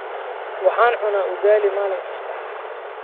Waxaan cunaa ugali maalin kasta.